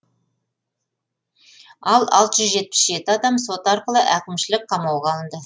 ал алты жүз жетпіс жеті адам сот арқылы әкімшілік қамауға алынды